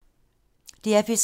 DR P3